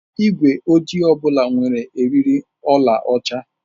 Igwe ojii ọ bụla nwere eriri ọlaọcha.